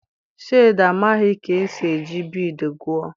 Shade amaghị ka esi eji biidii gụọ.